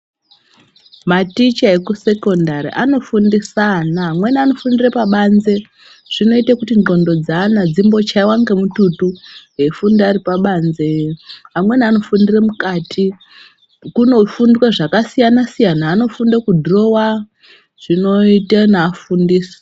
Maticha ekusekondari anofundisa ana amweni anofundire pabanze zvinoita kuti ndxondo dzeana dzimbochiiva ngemututu. Eifunda aripabanze amweni anofundire mukati kunofundwa zvakasiyana-siyana, anofunde kudhurova zvinoite naafundisi.